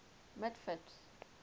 mitford's